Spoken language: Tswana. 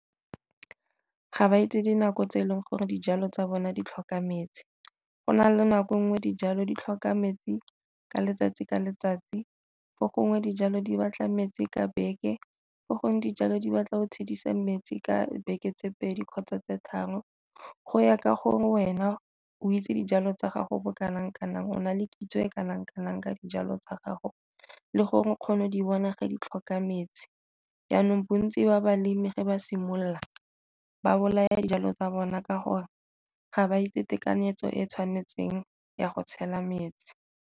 Ga ba itse dinako tse e leng gore dijalo tsa bone di tlhoka metsi, go na le nako nngwe dijalo di tlhoka metsi ka letsatsi ka letsatsi, fo gongwe dijalo di batla metsi ka beke, fo gongwe dijalo di batla go metsi ka beke tse pedi kgotsa tse tharo. Go ya ka gore wena o itse dijalo tsa gago bo kanang kanang ona le kitso e kanang kanang ka dijalo tsa gago le go di bona ge di tlhoka metsi. Janong bontsi ba balemi fa ba simolola ba bolaya dijalo tsa bona ka gore ga ba itse tekanyetso e tshwanetseng ya go tshela metsi.